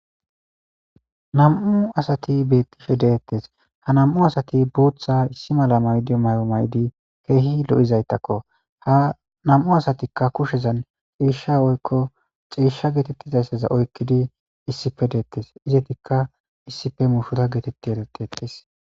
nam7u asati bettishe deettes ha nam7u asati buutha issi mala maydi may7o maydi keehi lo7izaytakko ha namu asatikka kushezan ciishsha oykko xieshsha geetettizayssaza oykkidi issipe deettes izetikka issife mushuta geetetti etetiettes